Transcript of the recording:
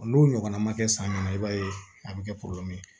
N'o ɲɔgɔnna ma kɛ san jumɛn i b'a ye a bɛ kɛ ye